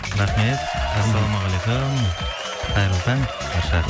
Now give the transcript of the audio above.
рахмет ассаламағалейкум қайырлы таң